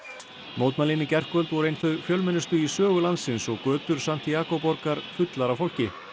mótmælin í gærkvöld voru ein þau fjölmennustu í sögu landsins og götur borgar fullar af fólki